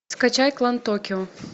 скачай клан токио